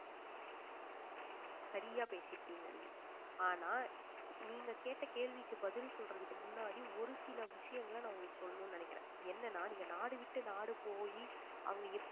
சரியா பேசி இருக்கீங்க நீங்க ஆனா நீங்க கேட்ட கேள்விக்கு பதில் சொல்றதுக்கு முன்னாடி ஒரு சில விஷயங்களை நான் உங்களுக்கு சொல்லணும்னு நினைக்கிறேன் என்னன்னா நீங்க நாடு விட்டு நாடு போயி அங்க